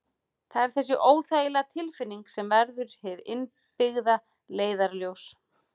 Það er þessi óþægilega tilfinning sem verður hið innbyggða leiðarljós.